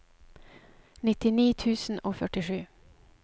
nittini tusen og førtisju